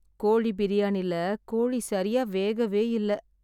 கோழி பிரியாணில கோழி சரியா வேகவே இல்ல...